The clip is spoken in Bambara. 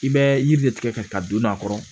I bɛ yiri de tigɛ ka taa don n'a kɔrɔ